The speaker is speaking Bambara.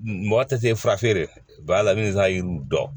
Mɔgɔ tɛ se fura feere ba la n bɛ n ka yiriw dɔn